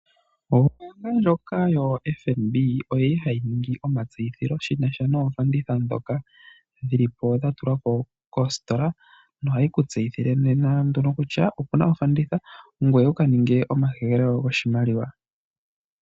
Ombaanga yoFNB ohayi ningi omatseyitho shina sha noofanditha ndhoka dhatulwa po koositola. Ohayi ku tseyithile kutya okuna ofanditha ngoye wuka ninge omahehelo goshimaliwa.